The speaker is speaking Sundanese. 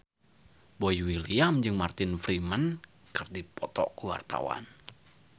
Boy William jeung Martin Freeman keur dipoto ku wartawan